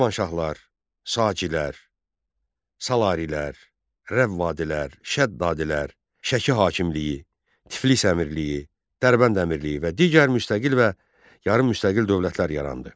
Şirvanşahlar, Sacilər, Salarilər, Rəvvadilər, Şəddadilər, Şəki hakimliyini, Tiflis Əmirliyi, Dərbənd Əmirliyi və digər müstəqil və yarım müstəqil dövlətlər yarandı.